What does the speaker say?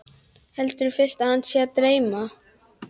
Heldur fyrst að hana sé að dreyma.